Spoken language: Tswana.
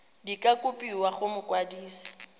di ka kopiwa go mokwadise